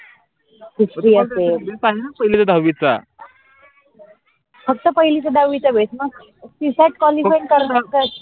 फक्त पहिलीच दहावीच भेद मग csat qualify करता